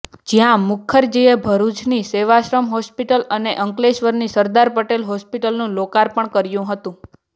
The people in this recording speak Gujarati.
જ્યાં મુખરજીએ ભરૂચની સેવાશ્રમ હોસ્પિટલ અને અંકલેશ્વરની સરદાર પટેલ હોસ્પિટલનું લોકાર્પણ કર્યું હતું